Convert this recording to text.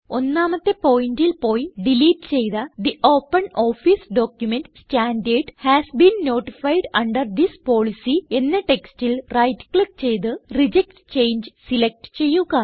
ഒന്നാമത്തെ പോയിന്റിൽ പോയി ഡിലീറ്റ് ചെയ്ത തെ OpenOffice document standard has been notified under this policy എന്ന ടെക്സ്റ്റിൽ റൈറ്റ് ക്ലിക്ക് ചെയ്ത് റിജക്ട് ചങ്ങെ സിലക്റ്റ് ചെയ്യുക